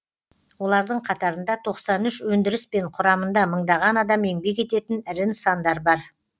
олардың қатарында тоқсан үш өндіріспен құрамында мыңдаған адам еңбек ететін ірі нысандар бар